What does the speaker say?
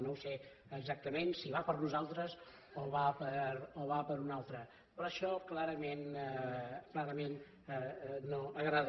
no sé exactament si va per nosaltres o va per un altre però això clarament no agrada